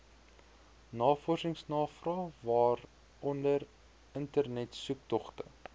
navorsingsnavrae waaronder internetsoektogte